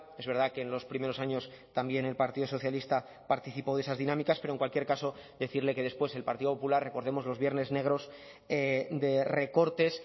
es verdad que en los primeros años también el partido socialista participó de esas dinámicas pero en cualquier caso decirle que después el partido popular recordemos los viernes negros de recortes